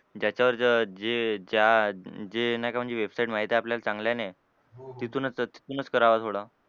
ज्याच्यावरचं जे ज्या जे नाही का म्हणजे website माहिती आहे आपल्याला चांगल्या आहे तिथूनच तिथूनच करावं थोडं.